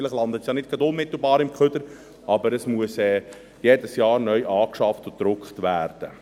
vielleicht landet es ja nicht gerade unmittelbar im Abfall, aber es muss jedes Jahr neu angeschafft und gedruckt werden.